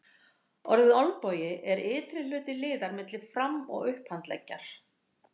Orðið olnbogi er ytri hluti liðar milli fram- og upphandleggjar.